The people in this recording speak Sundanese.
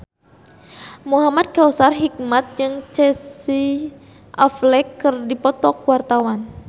Muhamad Kautsar Hikmat jeung Casey Affleck keur dipoto ku wartawan